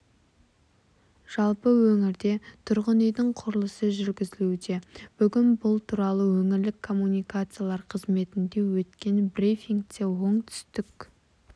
жалпы өңірде тұрғын үйдің құрылысы жүргізілуде бүгін бұл туралы өңірлік коммуникациялар қызметінде өткен брифингте оңтүстік